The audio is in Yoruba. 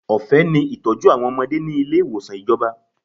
Ọ̀fẹ́ ni ìtọ́jú àwọn ọmọdé ni ilé ìwòsàn ìjọba.